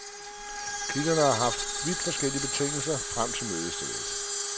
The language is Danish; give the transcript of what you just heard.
Kilderne har haft vidt forskellige betingelser frem til mødestedet.